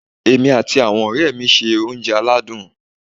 Èmi àti àwon òré mi n se oúnje aládùn